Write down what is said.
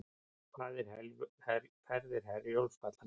Ferðir Herjólfs falla niður